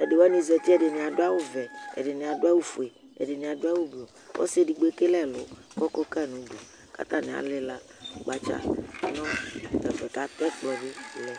alʊwanɩ zatɩemʊa, ɛɗɩnɩaɗʊ awʊ ɔʋɛ ɛɗɩnɩaɗʊ awʊ oƒʊe ɛɗɩnɩaɗʊ awʊ gɓlʊ ƙɔsɩ eɗɩgɓo eƙele ɛlʊ ƙʊ ɔƙɔƙaƴɩ nʊ ʊɗʊ ƙatanɩa lɩla nʊ ƙoƙotsʊe ɛƙplɔnɩɓɩ ɗʊ ɛƒʊɛ